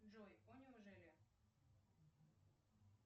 джой о неужели